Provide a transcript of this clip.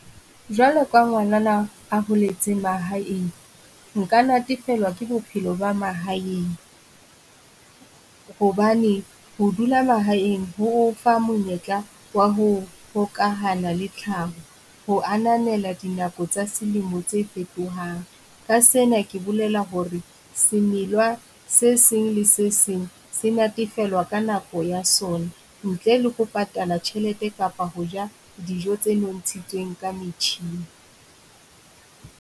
Jwalo ka ngwanana a holetseng mahaeng, Nka natefelwa ke bophelo ba mahaeng. Hobane ho dula mahaeng ho o fa monyetla wa ho hokahana le tlhaho, ho ananela dinako tsa selemo tse fetohang. Ka sena ke bolela hore semelwa se seng le se seng se natefelwa ka nako ya sona ntle le ho patala tjhelete kapa ho ja dijo tse nontshitsweng ka metjhini.